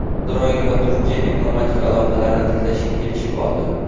Isroil va Turkiya diplomatik aloqalarni tiklashga kelishib oldi.